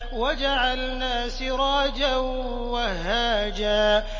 وَجَعَلْنَا سِرَاجًا وَهَّاجًا